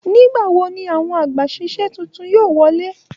Nigbawo ní àwọn àgbàsísẹ̀ títún yóò wọlé!